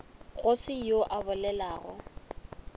go se yoo a bolelago